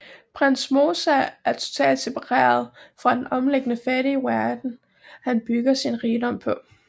Prins Moosa er totalt separeret fra den omliggende fattige verden han bygger sin rigdom på